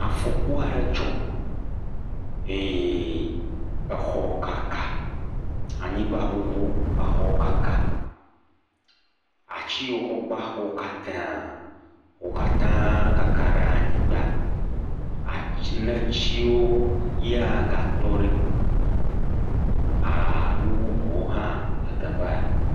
Afɔku aɖe dzɔ eye exɔ kaka, anyigbaŋuŋu exɔ kaka, ati yiwo wokɔ gba xɔa wo katã kaka ɖe anyigba, ati..netiwo ya gatɔ ɖi aaa…nu bubuwo hã le teƒa.